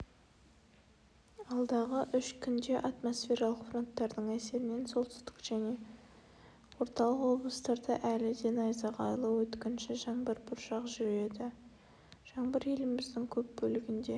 алдағы үш күнде атмосфералық фронттардың әсерінен солтүстік және орталық облыстарда әлі де найзағайлы өткінші жаңбыр бұршақ жүреді жаңбыр еліміздің көп бөлігінде